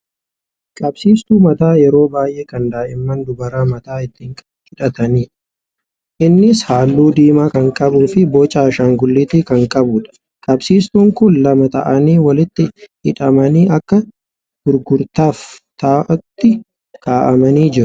Qabsiistuu mataa yeroo baay'ee kan daa'imman dubaraa mataa ittiin hidhatantu jira. Innis haalluu diimaa kan qabuufi boca ashaangulliitii kan qabudha. Qabsiistuun kun lama ta'anii walitti hidhamanii akka gurgurtaaf ta'utti kaa'amanii jiru.